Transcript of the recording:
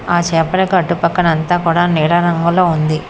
ఆ చాపలకు అటు పక్కన అంత కూడ నీలం రంగులో ఉంది.